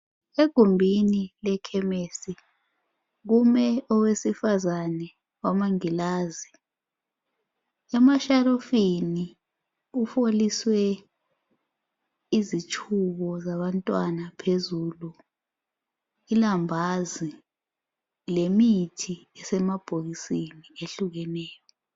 Egumbini lekhemesi kume owesifazani owamangilazi emashelufini kufoliswe izitshubo zabantwana phezulu ilambazi lemithi esemabhokisini ehlukeneyo